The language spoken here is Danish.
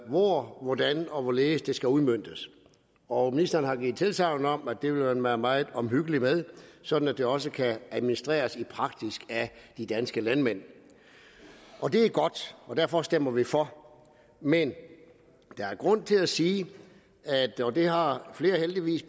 hvor hvordan og hvorledes det skal udmøntes og ministeren har givet tilsagn om at det vil man være meget omhyggelig med sådan at det også kan administreres i praksis af de danske landmænd det er godt og derfor stemmer vi for men der er grund til at sige og det har flere heldigvis